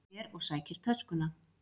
Hann fer og sækir töskuna.